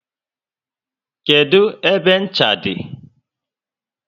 Kedụ ebe ncha dị?